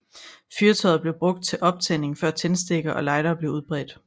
Fyrtøjet blev brugt til optænding før tændstikker og lightere blev udbredte